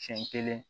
Siɲɛ kelen